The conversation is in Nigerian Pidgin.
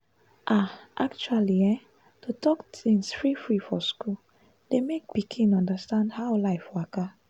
ahhh actually ehhn to talk things free-free for school dey make pikin understand how life waka.